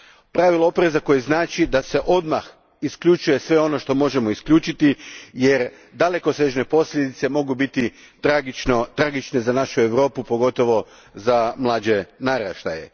Pravilo opreza koje znači da se odmah isključuje sve ono što možemo isključiti jer dalekosežne posljedice mogu biti tragične za našu Europu, pogotovo za mlađe naraštaje.